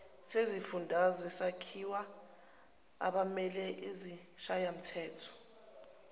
sezifundazwe sakhiwa abameleizishayamthetho